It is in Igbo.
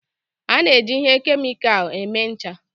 A na-eji ihe kemịkal eme ncha